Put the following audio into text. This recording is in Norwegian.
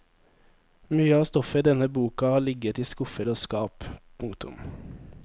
Mye av stoffet i denne boka har ligget i skuffer og skap. punktum